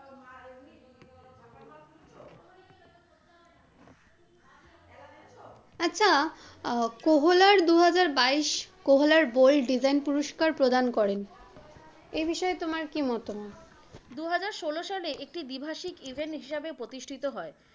আচ্ছা, কহলার দুহাজার বাইশ, কহলার বোল্ড ডিজাইন পুরস্কার প্রদান করেন, এ বিষয়ে তোমার কি মতামত? দুহাজার ষোলো সালে একটি দীভাষিক event হিসাবে প্রতিষ্টিত হয়।